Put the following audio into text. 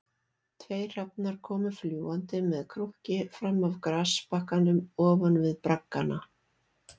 Tveir hrafnar komu fljúgandi með krunki fram af grasbakkanum ofan við braggana